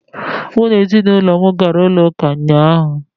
Mụ na ezinụlọ m gara chọọchị ụnyaahụ